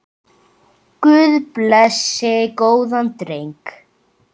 Guð blessi góðan dreng.